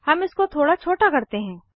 हम इसको थोड़ा छोटा करते हैं